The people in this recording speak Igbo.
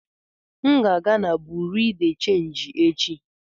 M ga aga na Buruu de chenji echi.